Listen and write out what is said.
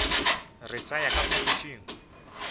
re sa ya ka phapošing